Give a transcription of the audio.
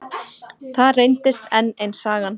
Það reyndist enn ein sagan.